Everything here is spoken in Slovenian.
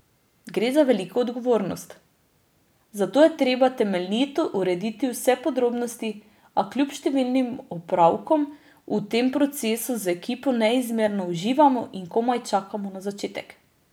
Gre za veliko odgovornost, zato je treba temeljito urediti vse podrobnosti, a kljub številnim opravkom v tem procesu z ekipo neizmerno uživamo in komaj čakamo na začetek.